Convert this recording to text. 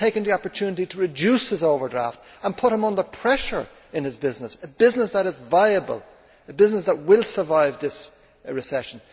It has taken the opportunity to reduce his overdraft and put him under pressure in his business a business that is viable, a business that will survive this recession.